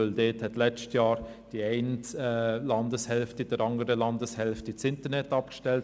Dort hat letztes Jahr die eine Landeshälfte der anderen für ein paar Wochen das Internet abgestellt.